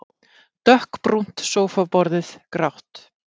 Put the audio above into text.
Dökkbrúnt sófaborðið grátt.